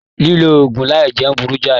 Lilo òògùn láì jẹun burú jai.